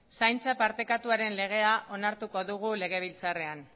zaintza partekatuaren legea onartuko dugu legebiltzarrean